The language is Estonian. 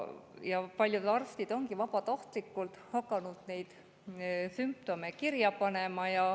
Paljud arstid on vabatahtlikult hakanud neid sümptomeid kirja panema.